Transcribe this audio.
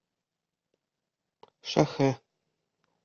шахэ